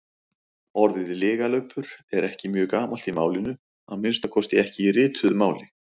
Orðið lygalaupur er ekki mjög gamalt í málinu, að minnsta kosti ekki í rituðu máli.